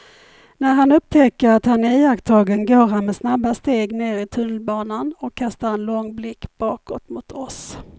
När han upptäcker att han är iakttagen går han med snabba steg ner i tunnelbanan och kastar en lång blick bakåt mot oss.